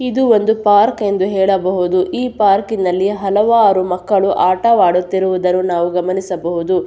ಇದು ಒಂದು ಪಾರ್ಕ್ ಎಂದು ಹೇಳಬಹುದು ಈ ಪಾರ್ಕಿನಲ್ಲಿ ಹಲವಾರು ಮಕ್ಕಳು ಆಟವಾಡುತ್ತಿರುವುದನ್ನು ನಾವು ಗಮನಿಸಬಹುದು.